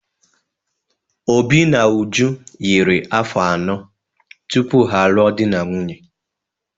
Obi na Uju yiri afọ anọ tupu ha a lụọ di na nwunye.